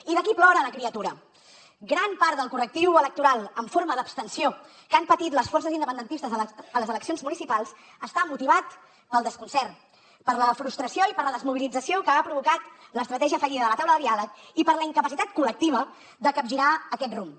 i d’aquí plora la criatura gran part del correctiu electoral en forma d’abstenció que han patit les forces independentistes a les eleccions municipals està motivat pel desconcert per la frustració i per la desmobilització que ha provocat l’estratègia fallida de la taula de diàleg i per la incapacitat col·lectiva de capgirar aquest rumb